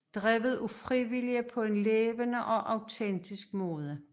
Drevet af frivillige på en levende og autentisk måde